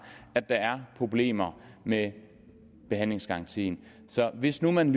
at der er problemer med behandlingsgarantien så hvis nu man